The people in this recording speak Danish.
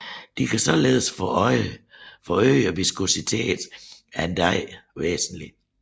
De kan således forøge viskositeten af en dej væsentligt